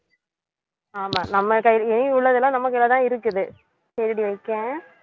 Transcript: ஆமா நம்ம கையில இனி உள்ளதெல்லாம் நம்ம கையிலதான் இருக்குது சரிடி வைக்கேன்